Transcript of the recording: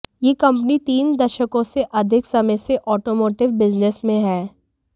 ये कंपनी तीन दशकों से अधिक समय से ऑटोमोटिव बिजनेस में है